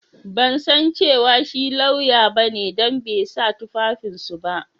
Ban san cewa shi lauya ba ne dan bai sa tufafin su ba.